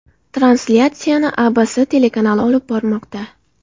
Translyatsiyani ABC telekanali olib bormoqda.